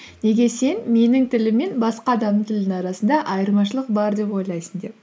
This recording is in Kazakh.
неге сен менің тілім мен басқа адамның тілінің арасында айырмашылық бар деп ойлайсың деп